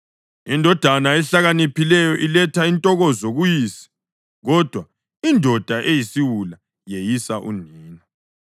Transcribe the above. Indodana ehlakaniphileyo iletha intokozo kuyise, kodwa indoda eyisiwula yeyisa unina.